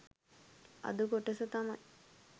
අද කොටස තමයි